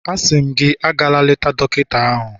Asị m gị, agala eleta dọkịta ahụ